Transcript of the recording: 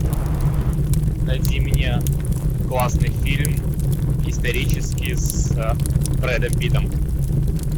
найди мне классный фильм исторический с брэдом питтом